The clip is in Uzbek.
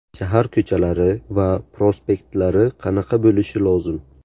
Shahar ko‘chalari va prospektlari qanaqa bo‘lishi lozim?